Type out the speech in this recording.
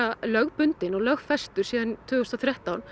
lögbundinn og lögfestur síðan tvö þúsund og þrettán